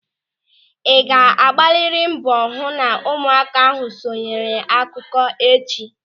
Ị ga-agbarịrị mbọ ịhụ na ụmụaka ahụ sonyere akụkọ echi.